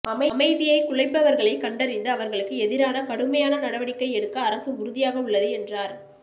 அமைதியை குலைப்பவர்களை கண்டறிந்து அவர்களுக்கு எதிராக கடுமையான நடவடிக்கை எடுக்க அரசு உறுதியாக உள்ளது என்றார்